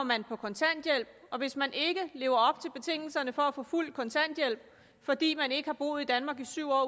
man på kontanthjælp og hvis man ikke lever op til betingelserne for at få fuld kontanthjælp fordi man ikke har boet i danmark i syv